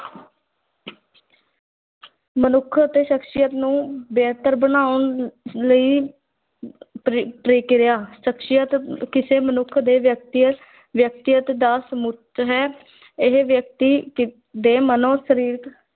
ਮਨੁੱਖ ਅਤੇ ਸ਼ਖ਼ਸੀਅਤ ਨੂੰ ਬਿਹਤਰ ਬਣਾਉਣ ਲਈ ਪ੍ਰ ਪ੍ਰਕਿਰਿਆ, ਸ਼ਖ਼ਸੀਅਤ ਕਿਸੇ ਮਨੁੱਖ ਦੇ ਵਿਅਕਤੀ ਵਿਅਕਤੀਗਤ ਦਾ ਸਮੂਹ ਹੈ ਇਹ ਵਿਅਕਤੀ ਕ ਦੇ ਮਨੋ-ਸਰੀਰਕ,